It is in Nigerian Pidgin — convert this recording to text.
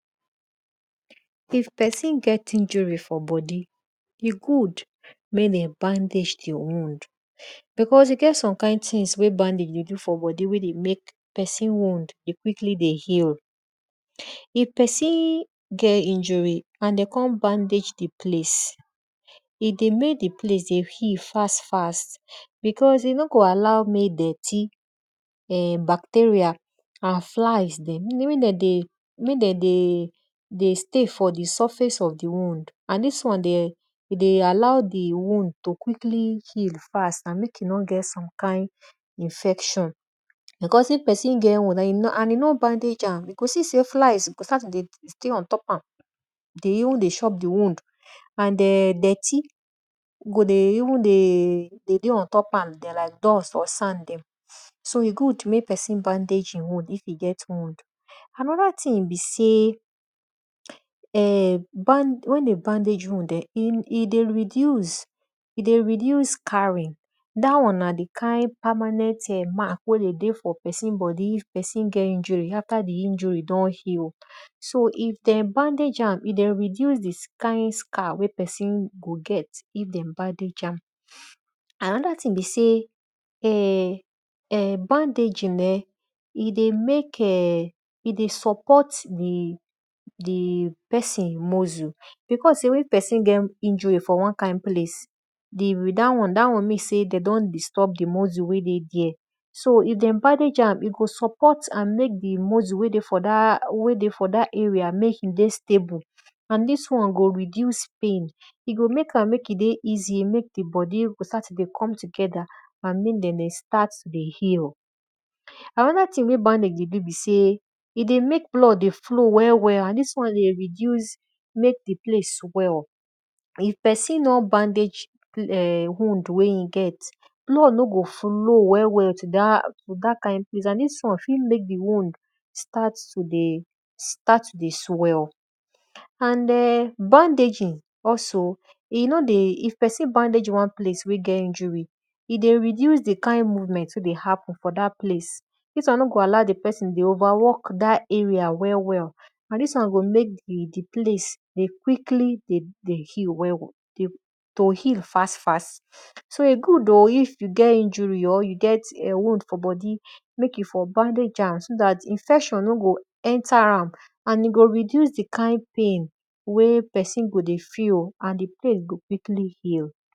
If pesin get injury for bodi, good mek dem bandage di wound because e get some kind things wey bandage dey do for bodi wey dey mek pesin wound dey quickly dey heal. If pein get injury and de kon bqandage di place, e dey mek di place dey heal fst fast because e no go allow mek dirty, backterial and flies mek den dey stay for di surface of di wound and dis won dey alow mek di wound dey heal fast and mek e no get infection. Because if pesin get wound and e no bandage am, e go see sey flis go start to dey dey ontop am dey even dey chop di wound and dirty go ven dey dey on top am. So e good mek pepsin bandage e wound if e get wound. Anoda thing be sey wen de bandage wound[um], e dey reduce scaring, dat won na di kind permanent mark wey dey dey for pesin bodi if pesin get injury after di injury don heal. So if dem bandage am, e go reduce di scaring wey pesin go get if dem bandage am. Anoda thing be sey[um]bandaging[um]dey mek[um], e dey support di pesin muscle because sey wen pesin get injury for won kind place dat won mmean sey de don disturb di muscle wey dey there so if dem bandage am, e go support and mek di muscle wey dey for dat area mek e dey stable and dis on go reduce pain, e go mek am mek e dey easy, mek e bodi go start to dey come together and mek dem dey start to dey heal. Anoda thing wey nbandage dey do be sey e dey mek blood dey flow well well and dis won dey reduce mek di place swell. If pesin nor bandage[um]wound wey e get, blood no go flow well well to dat plac and dis won fi mek di wound start to dey swell. And hn bandaging also e nor dey if pesin bandage won place wey get injury, e dey reduce di kind movement wey dey happen for dat place, dis won no dey allow di pesin dey over work dat area well well and dis won go mek di place dey quickly heal fast fast. So e good o if you get injury or you get wound for bodi mek you for bndage am so dat infection no go enter am and e go reduce di kind pain wen pesin go dey feel and di pains go quickly heal.